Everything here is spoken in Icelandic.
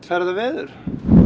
ferðaveður